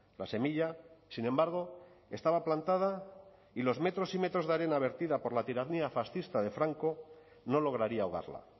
la semilla sin embargo estaba plantada y los metros y metros de arena vertida por la tiranía fascista de franco no lograría ahogarla